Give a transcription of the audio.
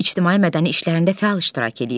İctimai mədəni işlərində fəal iştirak eləyir.